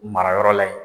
Mara yɔrɔ la yen